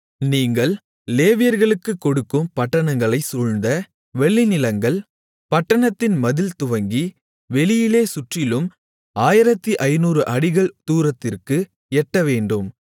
நீங்கள் லேவியர்களுக்கு கொடுக்கும் பட்டணங்களைச் சூழ்ந்த வெளிநிலங்கள் பட்டணத்தின் மதில்துவங்கி வெளியிலே சுற்றிலும் 1500 அடிகள் தூரத்திற்கு எட்டவேண்டும்